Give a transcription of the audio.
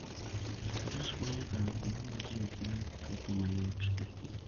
Faras konyo e kalo kuonde ma ji ok nyal chopoe mayot e thim.